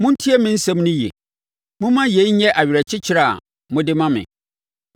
“Montie me nsɛm no yie. Momma yei nyɛ awerɛkyekyerɛ a mode ma me.